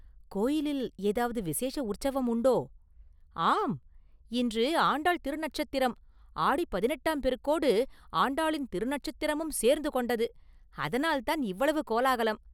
கோயிலில் ஏதாவது விசேஷ உற்சவம் உண்டோ?”“ஆம்; இன்று ஆண்டாள் திருநட்சத்திரம்.ஆடிப் பதினெட்டாம் பெருக்கோடு ஆண்டாளின் திருநட்சத்திரமும் சேர்ந்து கொண்டது; அதனால்தான் இவ்வளவு கோலாகலம்.